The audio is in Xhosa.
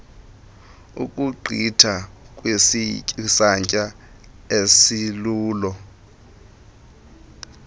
ukugqitha kwisantya esilolu